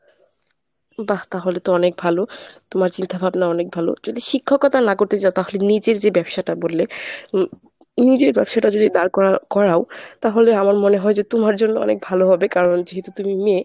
বাঃ তাহলে তো অনেক ভালো তোমার চিন্তা ভাবনা অনেক ভালো যদি শিক্ষকতা না করতে চাও তাহলে নিজের যে ব্যবসাটা বললে immediate ব্যবসাটা যদি দাঁড় করাও তাহলে আমার মনে হয় যে তোমার জন্য অনেক ভালো হবে কারণ যেহেতু তুমি মেয়ে